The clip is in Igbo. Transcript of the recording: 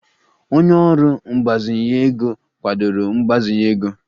Onye ọrụ mgbazinye ego kwadoro mgbazinye ego